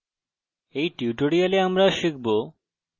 in tutorial আমরা শিখব